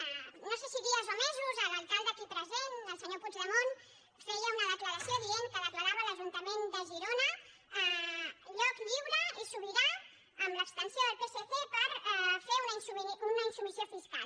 no sé si dies o mesos l’alcalde aquí present el senyor puigdemont feia una declaració i deia que declarava l’ajuntament de girona lloc lliure i sobirà amb l’abstenció del psc per fer una insubmissió fiscal